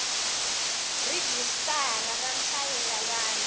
rhijisitara ra nhlayo ya vanhu